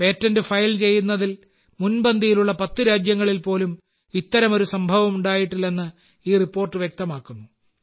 patent file ചെയ്യുന്നതിൽ മുൻപന്തിയിലുള്ള 10 രാജ്യങ്ങളിൽ പോലും ഇത്തരമൊരു സംഭവമുണ്ടായിട്ടില്ലെന്ന് ഈ റിപ്പോർട്ട് വ്യക്തമാക്കുന്നു